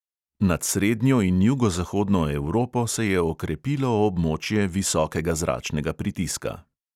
Nad srednjo in jugozahodno evropo se je okrepilo območje visokega zračnega pritiska.